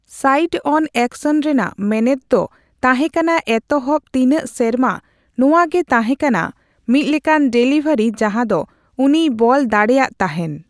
ᱥᱟᱹᱭᱤᱰᱼᱚᱱ ᱮᱠᱥᱚᱱ ᱨᱮᱱᱟᱜ ᱢᱮᱱᱮᱛ ᱫᱚ ᱛᱟᱦᱮᱸᱠᱟᱱᱟ ᱮᱛᱚᱦᱚᱵᱽ ᱛᱤᱱᱟᱹᱜ ᱥᱮᱨᱢᱟ ᱱᱚᱣᱟᱜᱤ ᱛᱟᱦᱮᱸ ᱠᱟᱱᱟ ᱢᱤᱛ ᱞᱮᱠᱟᱱ ᱰᱮᱞᱤᱵᱷᱟᱹᱨᱤ ᱡᱟᱦᱟ ᱫᱚ ᱩᱱᱤᱭ ᱵᱚᱞ ᱫᱟᱲᱮᱭᱟᱜ ᱛᱟᱦᱮᱱ ᱾